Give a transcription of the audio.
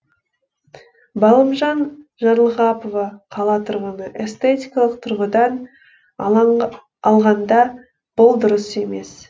балымжан жарлығапова қала тұрғыны эстетикалық тұрғыдан алғанда бұл дұрыс емес